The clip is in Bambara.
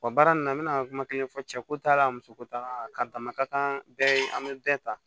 Wa baara nin na n bɛna kuma kelen fɔ cɛko ta la muso ko t'a la ka damaka kan bɛɛ an bɛ bɛɛ ta